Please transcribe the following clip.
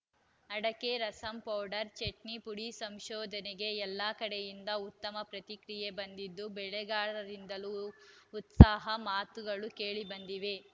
ಅಡಕೆ ರಸಂ ಪೌಡರ್‌ ಚಟ್ನಿ ಪುಡಿ ಸಂಶೋಧನೆಗೆ ಎಲ್ಲ ಕಡೆಯಿಂದ ಉತ್ತಮ ಪ್ರತಿಕ್ರಿಯೆ ಬಂದಿದ್ದು ಬೆಳೆಗಾರರಿಂದಲೂ ಉತ್ಸಾಹದ ಮಾತುಗಳು ಕೇಳಿ ಬಂದಿವೆ